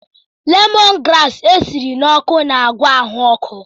Lemọn graasị esiri ọkụ na-agwọ ahụ ọkụ.